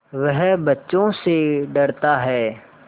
वह बच्चों से डरता है